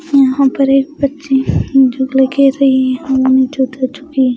यहाँ पर एक बच्ची खेल रही है हवा में लुक्का छुपी--